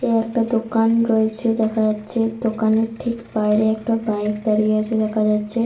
এ একটা দোকান রয়েছে দেখা যাচ্ছে। দোকানের ঠিক বাইরে একটা বাইক দাঁড়িয়ে আছে দেখা যাচ্ছে।